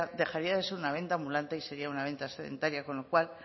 dejaría de ser una venta ambulante y sería una venta sedentaria con lo cual